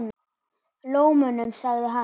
Lómunum sagði hann.